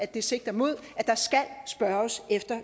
det sigter mod